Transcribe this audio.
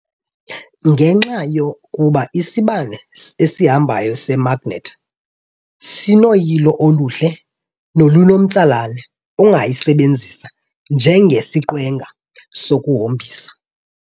Ngenxa yokuba isibane esihambayo semagnethi sinoyilo oluhle nolunomtsalane, ungayisebenzisa njengesiqwenga sokuhombisa.